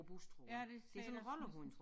Ja det siger jeg også ligesom